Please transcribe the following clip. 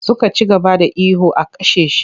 Suka ci gaba da ihu 'a kashe shi!'